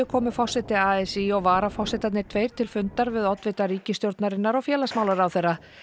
komu forseti a s í og varaforsetarnir tveir til fundar við oddvita ríkisstjórnarinnar og félagsmálaráðherra